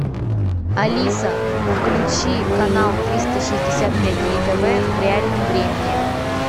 алиса включи канал триста шестьдесят пять дней тв в реальном времени